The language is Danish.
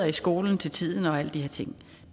i skolen til tiden og alle de her ting